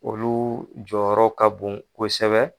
Olu jɔyɔrɔ ka bon kosɛbɛ